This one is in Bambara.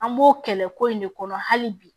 An b'o kɛlɛ ko in de kɔnɔ hali bi